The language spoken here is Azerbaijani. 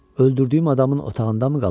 Öldürdüyüm adamın otağındamı qalıb?